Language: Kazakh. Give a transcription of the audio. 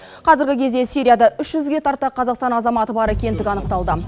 қазіргі кезде сирияда үш жүзге тарта қазақстан азаматы бар екендігі анықталды